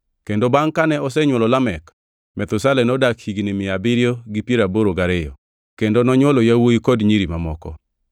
Kendo bangʼ kane osenywolo Lamek, Methusela nodak higni mia abiriyo gi piero aboro gariyo kendo nonywolo yawuowi kod nyiri mamoko.